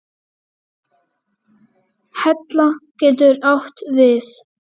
Hella getur átt við